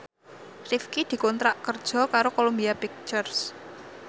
Rifqi dikontrak kerja karo Columbia Pictures